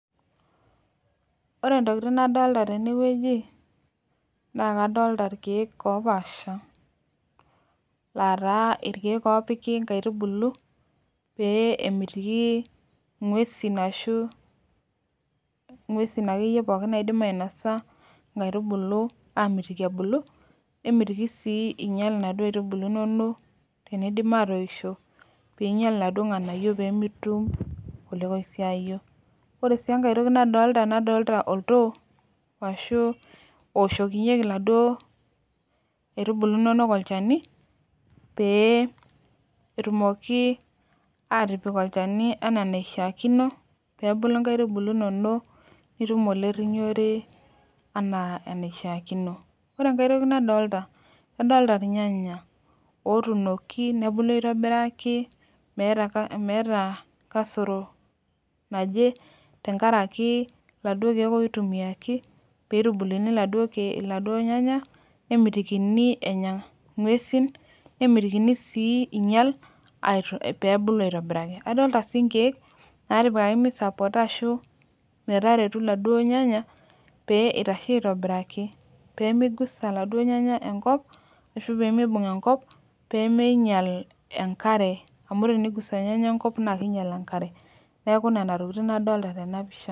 Ore entoki nadolita tene naa nadolita irkiek oopasha aataa. Irkiek opiki inkaitubulu peemitiki inguesin enya inkaitubulu nemitiki sii einyial inaduo aitubulu inonok teneidim aatoishiio ore sii enkae toki nadolita oltoo ashuu ooshokinyie inaduo aitubulu inonok olchani peebulu inkaitubulu inonok enaa enaishiakino adolita irnyanya ootunoki tenkaraki iladuo kiek ootunoki nemetikini enta ingueain peebulu aitobiraki adolita sii inkiek naamisappota iladuo nyanya peemeibung enkop peemeinyial enkare amu teneigusa irnyanya enkop naa keibung enkare neeku nena tokitin adolita tena pisha